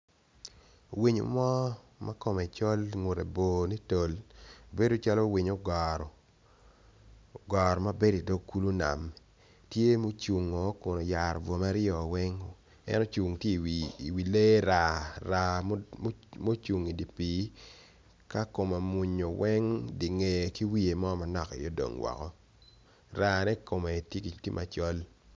Winyo mo makome col ngute bor nitol beod calo winyo ogoro ogoro mabedo i dog kulu nam tye ma ocung kun ayara bongo ikome weng en ocung tye i wi lee raa. Raa mocung i dipi ka kome omwonyo weng dingee ki wiye mo aye odong woko raa ne kome tye macol.